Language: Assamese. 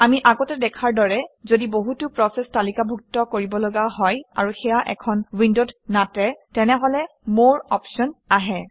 আমি আগতে দেখাৰ দৰে যদি বহুতো প্ৰচেচ তালিকাভুক্ত কৰিবলগা হয় আৰু সেয়া এখন উইণ্ডত নাটে তেনেহলে মৰে অপশ্যন আহে